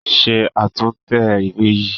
Ṣe àtúntẹ̀ ìwé yìí!